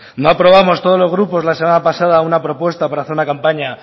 no aprobamos todos los grupos la semana pasada una propuesta para hacer una campaña